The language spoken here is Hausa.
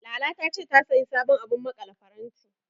Lala ta ce, ta sayi sabon abun maƙale faranti, jiya.